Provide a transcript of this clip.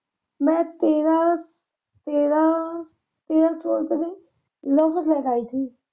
ਮੈਂ ਤੇਰਾਂ . ਤੇਰਾਂ ਸੌ ਰੁਪਏ ਦੇ ਲੈ ਕੇ ਆਈ ਸੀ।